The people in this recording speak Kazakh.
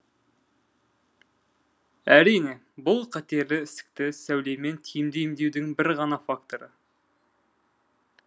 әрине бұл қатерлі ісікті сәулемен тиімді емдеудің бір ғана факторы